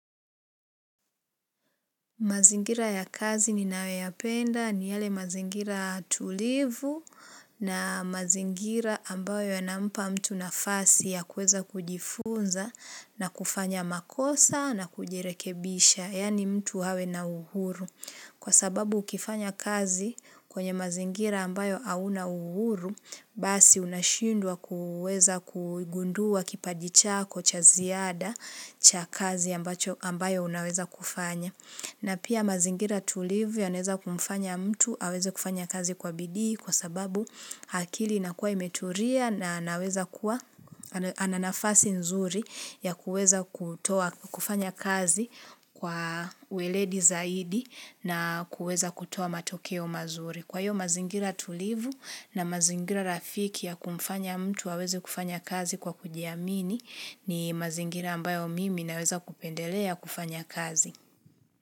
Mazingira ya kazi ninayo ya penda ni yale mazingira tulivu na mazingira ambayo ya nampa mtu nafasi ya kueza kujifunza na kufanya makosa na kujirekebisha, yaani mtu awe na uhuru. Kwa sababu ukifanya kazi kwenye mazingira ambayo au na uhuru, basi unashindwa kuweza kugundua kipachi chako cha ziada cha kazi ambayo unaweza kufanya. Na pia mazingira tulivu ya naweza kumfanya mtu aweze kufanya kazi kwa bidii kwa sababu akili inakuwa imeturia na anaweza kuwa ananafasi nzuri ya kuweza kufanya kazi kwa uweledi zaidi na kuweza kutoa matokeo mazuri. Kwa hiyo mazingira tulivu na mazingira rafiki ya kumfanya mtu aweze kufanya kazi kwa kujiamini ni mazingira ambayo mimi naweza kupendelea kufanya kazi.